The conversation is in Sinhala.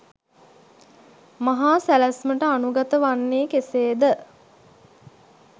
මහා සැලැස්මට අනුගත වන්නේ කෙසේ ද?